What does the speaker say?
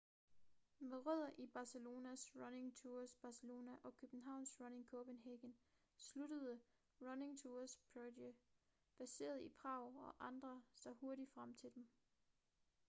med rødder i barcelonas running tours barcelona og københavns running copenhagen sluttede running tours prague baseret i prag og andre sig hurtigt til dem